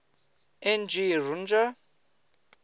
n g rjuna